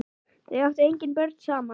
Þau áttu engin börn saman.